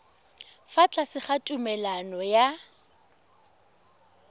fa tlase ga tumalano ya